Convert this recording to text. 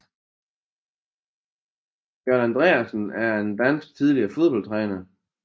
Jørgen Andreasen er en dansk tidligere fodboldstræner